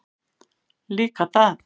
Líka það.